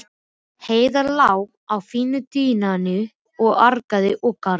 Heiða lá á fína dívaninum og argaði og gargaði.